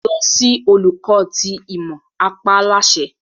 Lọ si Oluko ti Imọ! a pa á láṣẹ